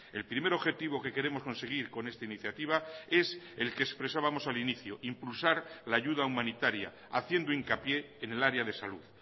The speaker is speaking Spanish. el primer objetivo que queremos conseguir con esta iniciativa es el que expresábamos al inicio impulsar la ayuda humanitaria haciendo hincapié en el área de salud